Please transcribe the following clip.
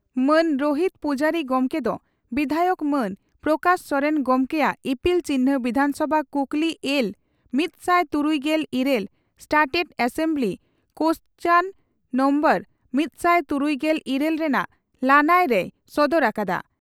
ᱢᱟᱱ ᱨᱳᱦᱤᱛ ᱯᱩᱡᱟᱨᱤ ᱜᱚᱢᱠᱮ ᱫᱚ ᱵᱤᱫᱷᱟᱭᱚᱠ ᱢᱟᱱ ᱯᱨᱚᱠᱟᱥ ᱥᱚᱨᱮᱱ ᱜᱚᱢᱠᱮᱭᱟᱜ ᱤᱯᱤᱞ ᱪᱤᱱᱦᱟᱹ ᱵᱤᱫᱷᱟᱱᱥᱚᱵᱷᱟ ᱠᱩᱠᱞᱤ ᱮᱞ ᱢᱤᱛᱥᱟᱭ ᱛᱩᱨᱩᱭᱜᱮᱞ ᱤᱨᱟᱹᱞ ᱥᱴᱟᱨᱴᱮᱰ ᱮᱥᱮᱢᱵᱞᱤ ᱠᱳᱥᱪᱟᱱ ᱱᱳᱢᱵᱚᱨ ᱢᱤᱛᱥᱟᱭ ᱛᱩᱨᱩᱭᱜᱮᱞ ᱤᱨᱟᱹᱞ ᱨᱮᱱᱟᱜ ᱞᱟᱹᱱᱟᱹᱭ ᱨᱮᱭ ᱥᱚᱫᱚᱨ ᱟᱠᱟᱫᱼᱟ ᱾